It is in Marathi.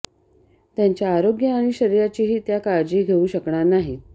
त्यांच्या ारोग्य आनि शरीराचीही त्या काळजी घेऊ शकणार नाहीत